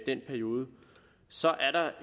den periode